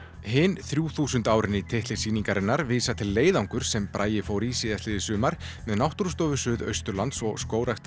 hin þrjúþúsund árin í titli sýningarinnar vísa til leiðangurs sem Bragi fór í síðastliðið sumar með Náttúrustofu Suðausturlands og Skógrækt